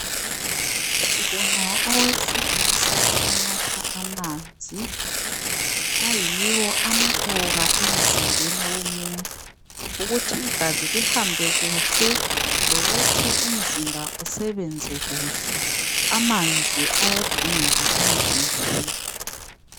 Sibona owesilisa onatha amanzi ayiwo amqoka emzimbeni womuntu ukuthi igazi lihambe kuhle lokuthi umzimba usebenze kuhle amanzi ayadingeka emzimbeni.